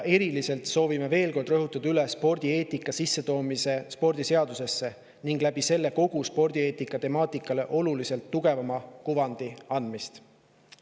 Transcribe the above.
Eriliselt soovime veel kord rõhutada spordieetika sissetoomist spordiseadusesse ning selle abil kogu spordieetika temaatikale oluliselt tugevama kuvandi andmist.